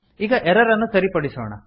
ಈಗ ಎರರ್ ಅನ್ನು ಸರಿಪಡಿಸೋಣ